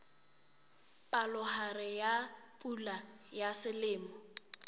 palohare ya pula ya selemo